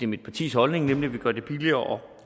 mit partis holdning nemlig at vi gør det billigere